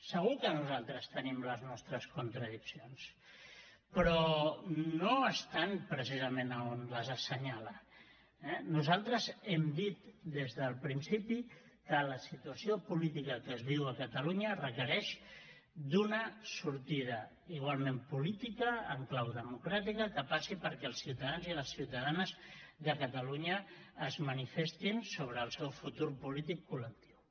segur que nosaltres tenim les nostres contradiccions però no estan precisament on les assenyala eh nosaltres hem dit des del principi que la situació política que es viu a catalunya requereix d’una sortida igualment política en clau democràtica que passi perquè els ciutadans i les ciutadanes de catalunya es manifestin sobre el seu futur polític col·lectiu